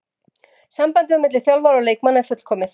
Sambandið á milli þjálfara og leikmanna er fullkomið.